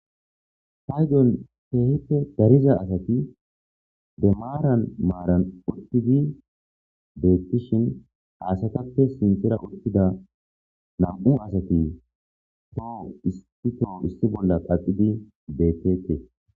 Haydon heehipte dariza asati de maaran maaran ultidi beettishin haasatappe sintera uttida nam'u asati too isti too issi bolla qaqidi bette.